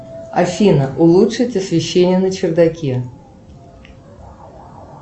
афина улучшить освещение на чердаке